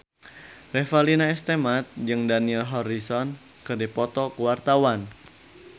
Revalina S. Temat jeung Dani Harrison keur dipoto ku wartawan